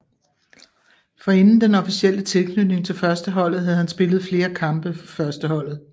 Forinden den officielle tilknytning til førsteholdet havde han spillet flere kampe for førsteholdet